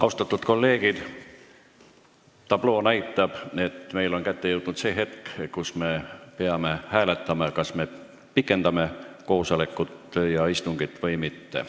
Austatud kolleegid, tabloo näitab, et kätte on jõudnud see hetk, kui me peame hääletama, kas me pikendame koosolekut, istungit või mitte.